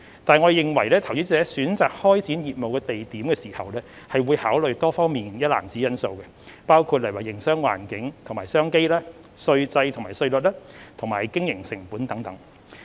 但是，政府認為投資者選擇開展業務地點時會考慮多方面的因素，包括營商環境及商機、稅制及稅率，以及經營成本等。